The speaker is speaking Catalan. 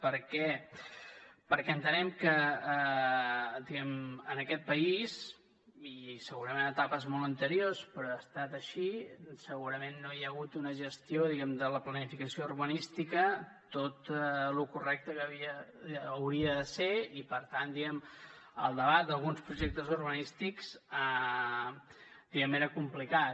per què perquè entenem que diguem ne en aquest país i segurament en etapes molt anteriors però ha estat així segurament no hi ha hagut una gestió diguem ne de la planificació urbanística tot lo correcte que hauria de ser i per tant el debat d’alguns projectes urbanístics diguem ne era complicat